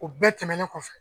O bɛɛ tɛmɛnen kɔfɛ